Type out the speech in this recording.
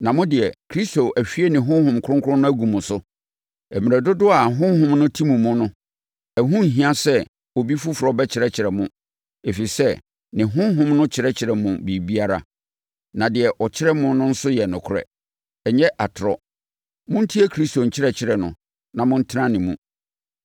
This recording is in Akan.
Na mo deɛ, Kristo ahwie ne Honhom Kronkron no agu mo so. Mmerɛ dodoɔ a ne Honhom no te mo mu no, ɛho nhia sɛ obi foforɔ bɛkyerɛkyerɛ mo. Ɛfiri sɛ, ne Honhom no kyerɛkyerɛ mo biribiara. Na deɛ ɔkyerɛ no nso yɛ nokorɛ; ɛnyɛ atorɔ. Montie Kristo nkyerɛkyerɛ no na montena ne mu.